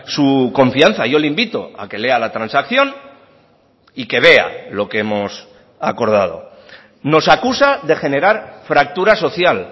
su confianza yo le invito a que lea la transacción y que vea lo que hemos acordado nos acusa de generar fractura social